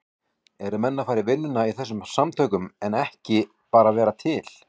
Eru menn að fara að vinna í þessum samtökum en ekki bara vera til?